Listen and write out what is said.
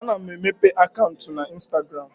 A na-emepe akaụntụ na instagram